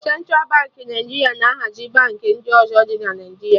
Centra Baankị Naijiria na hazi Baankị ndị ọzọ dị na Naijiria